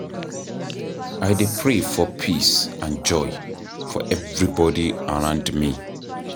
I dey pray for peace and joy for everybody around me.